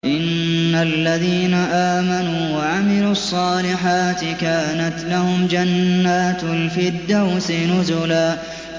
إِنَّ الَّذِينَ آمَنُوا وَعَمِلُوا الصَّالِحَاتِ كَانَتْ لَهُمْ جَنَّاتُ الْفِرْدَوْسِ نُزُلًا